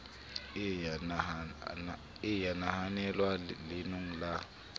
e ya nahanelwa leanong la